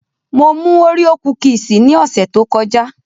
Mo mú Oreo kúkìsì ní ọ̀sẹ̀ tó kọjá